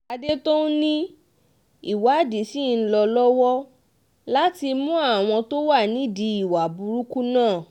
àdètòun ni ìwádìí ṣì ń lọ lọ́wọ́ láti mú àwọn tó wà nídìí ìwà burúkú náà